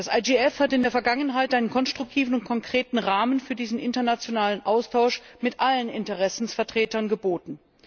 Das IGF hat in der Vergangenheit einen konstruktiven und konkreten Rahmen für diesen internationalen Austausch mit allen Interessensvertretern geboten.